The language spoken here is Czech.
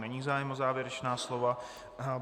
Není zájem o závěrečná slova.